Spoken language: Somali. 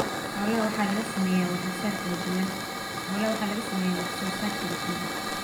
Xoolaha waxaa laga sameeyaa wax soo saar kala duwan.